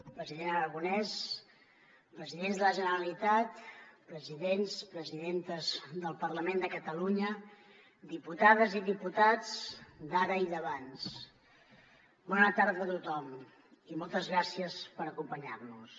president aragonès presidents de la generalitat presidents presidentes del parlament de catalunya diputades i diputats d’ara i d’abans bona tarda a tothom i moltes gràcies per acompanyar nos